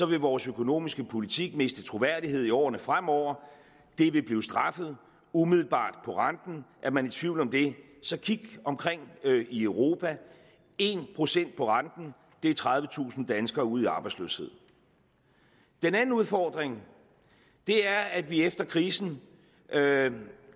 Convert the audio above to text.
vil vores økonomiske politik miste troværdighed i årene fremover det vil blive straffet umiddelbart på renten er man i tvivl om det så kig omkring i europa en procent på renten er tredivetusind danskere ud i arbejdsløshed den anden udfordring er at vi efter krisen